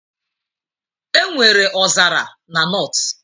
Enwere ọzara na North